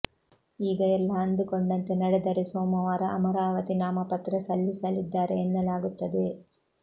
ಈಗ ಎಲ್ಲ ಅಂದುಕೊಂಡಂತೆ ನಡೆದರೆ ಸೋಮವಾರ ಅಮರಾವತಿ ನಾಮಪತ್ರ ಸಲ್ಲಿಸಲಿದ್ದಾರೆ ಎನ್ನಲಾಗುತ್ತದೆ